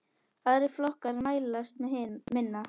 Aðrir flokkar mælast með minna.